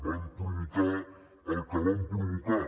van provocar el que van provocar